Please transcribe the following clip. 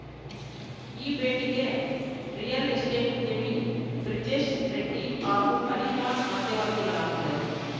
ಈ ಭೇಟಿಗೆ real estate ಉದ್ಯಮಿ ಬ್ರಿಜೇಶ್‌ ರೆಡ್ಡಿ ಹಾಗೂ ಅಲಿಖಾನ್‌ ಮಧ್ಯವರ್ತಿಗಳಾಗಿದ್ದರು